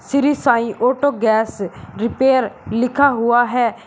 Shri Sai auto gas repair लिखा हुआ है।